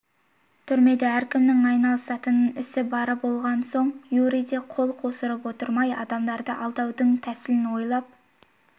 түрмеде әркімнің айналысатын ісі бар болған соң юрий де қол қусырып отырмай адамдарды алдаудың тәсілін ойлап